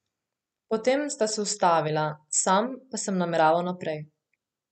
Potem sta se ustavila, sam pa sem nameraval naprej.